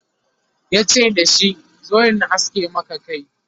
yace dashi "zo in aske Maka Kai!